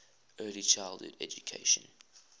early childhood education